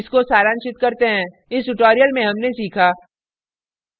इसको सारांशित करते हैं इस tutorial में हमने सीखा